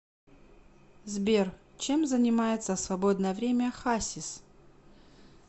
сбер чем занимается в свободное время хасис